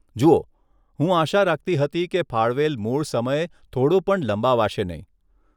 જુઓ, હું આશા રાખતી હતી કે ફાળવેલ મૂળ સમય થોડો પણ લંબાવાશે નહીં.